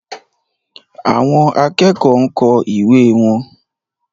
Àwọn akẹ́kọ̀ọ́ ń kọ ìwé wọn.